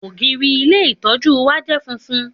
Ògiri ilé ìtọ́jú wa je funfun